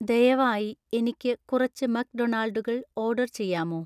ദയവായി എനിക്ക് കുറച്ച് മക്‌ഡൊണാൾഡുകൾ ഓർഡർ ചെയ്യാമോ